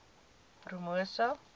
promosa